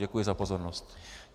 Děkuji za pozornost.